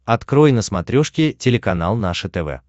открой на смотрешке телеканал наше тв